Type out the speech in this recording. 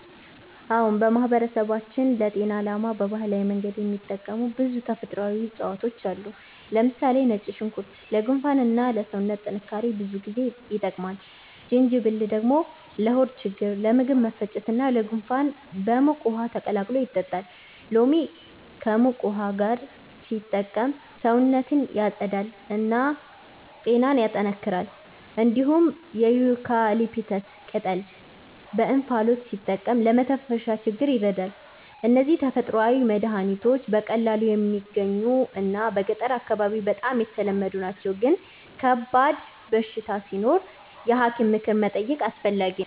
አዎን፣ በማህበረሰባችን ለጤና ዓላማ በባህላዊ መንገድ የሚጠቀሙ ብዙ ተፈጥሯዊ እፅዋት አሉ። ለምሳሌ ነጭ ሽንኩርት ለጉንፋን እና ለሰውነት ጥንካሬ ብዙ ጊዜ ይጠቀማል። ጅንጅብል ደግሞ ለሆድ ችግኝ፣ ለምግብ መፈጨት እና ለጉንፋን በሙቅ ውሃ ተቀላቅሎ ይጠጣል። ሎሚ ከሙቅ ውሃ ጋር ሲጠቀም ሰውነትን ያጸዳል እና ጤናን ያጠናክራል። እንዲሁም የዩካሊፕተስ ቅጠል በእንፋሎት ሲጠቀም ለመተንፈሻ ችግኝ ይረዳል። እነዚህ ተፈጥሯዊ መድሀኒቶች በቀላሉ የሚገኙ እና በገጠር አካባቢ በጣም ተለመዱ ናቸው፣ ግን ከባድ በሽታ ሲኖር የሐኪም ምክር መጠየቅ አስፈላጊ ነው።